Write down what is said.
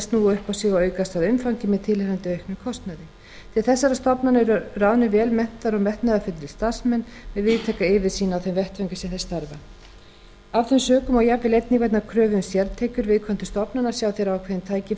sig og aukast að umfangi með tilheyrandi auknum kostnaði til þessara stofnana eru ráðnir vel menntaðir og metnaðarfullir starfsmenn með víðtæka yfirsýn á þeim vettvangi sem þeir starfa af þeim sökum og jafnvel einnig vegna kröfu um sértekjur viðkomandi stofnana sjá þeir ákveðin